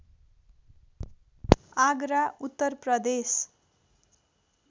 Agra Uttar Pradesh